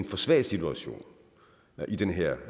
for svag situation i den her